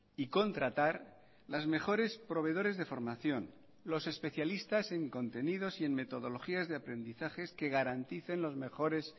y contratar las mejores proveedores de formación los especialistas en contenidos y en metodologías de aprendizajes que garanticen los mejores